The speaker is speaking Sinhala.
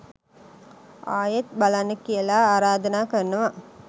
ආයෙත් බලන්න කියලා ආරාධනා කරනවා.